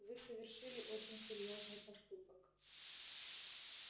вы совершили очень серьёзный поступок